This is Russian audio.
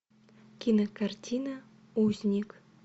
кинокартина узник